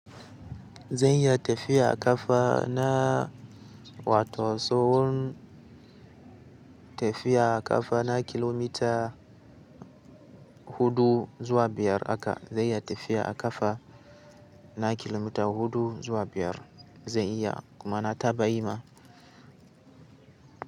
Zan iya tafiya a ƙafa na wato tsawon tafiya a ƙafa na kilomita huɗu zuwa biyar haka. Zai iya tafiya a ƙafa na kilomita huɗu zuwa biyar. Zan iya, kuma na taba yi ma.